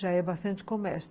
Já é bastante comércio.